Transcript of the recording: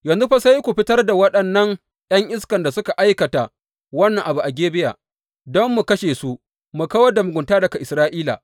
Yanzu fa sai ku fitar da waɗannan ’yan iskan da suka aikata wannan abu na Gibeya don mu kashe su mu kawar da mugunta daga Isra’ila!